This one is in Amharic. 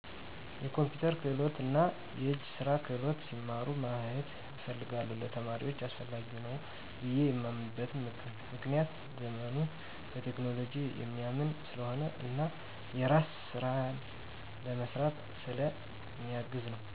የኮምፒተር ክህሎት እና የእጅ ስራ ክህሎት ሲማሩ ማየት እፈልጋለሁ። ለተማሪዎች አስፈላጊ ነው ብየ የማምንበት ምክንያት ዘመኑ በቴክኖሎጂ የሚያምን ስለሆነ እና የራስን ስራ ለመስራት ስለ ሚያግዝ ነወ።